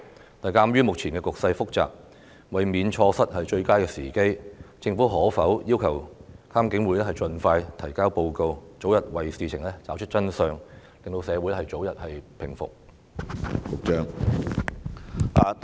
然而，鑒於目前的局勢複雜，為免錯過最佳時機，政府可否要求監警會盡快提交報告，早日為事情找出真相，令社會早日回復平靜？